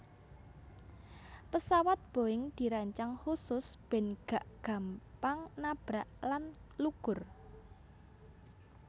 Pesawat Boeing dirancang khusus ben gak gampang nabrak lan lugur